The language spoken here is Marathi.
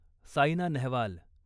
साईना नेहवाल